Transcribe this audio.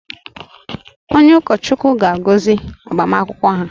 Onye ụkọchukwu ga-agọzi agbamakwụkwọ ha